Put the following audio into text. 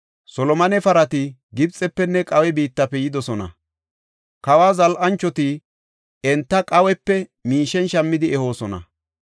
Solomone parati Gibxefenne Qaawe biittafe yidosona. Kawa zal7anchoti enta Qaawepe miishen shammidi ehoosona.